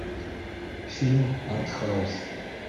фильм артхаус